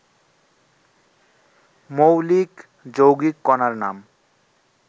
মৌলিক, যৌগিক কণার নাম